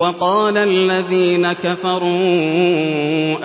وَقَالَ الَّذِينَ كَفَرُوا